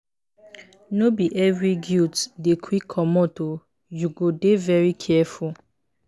no be every guilt dey quick comot o you go dey very careful.